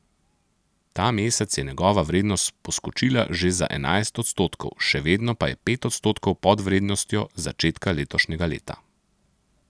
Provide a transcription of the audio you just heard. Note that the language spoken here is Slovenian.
Ta mesec je njegova vrednost poskočila že za enajst odstotkov, še vedno pa je pet odstotkov pod vrednostjo z začetka letošnjega leta.